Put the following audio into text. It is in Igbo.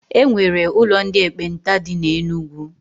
E nwere ụlọ ndị ekpenta dị na Enugu.